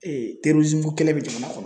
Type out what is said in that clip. ko kɛlɛ bɛ jamana kɔnɔ.